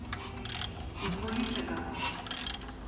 Izvolite ga.